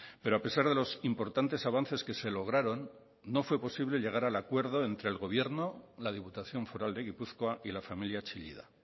pero a pesar de los importantes avances que se lograron no fue posible llegar al acuerdo entre el gobierno la diputación foral de gipuzkoa y la familia chillida